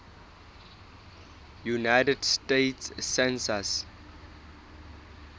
united states census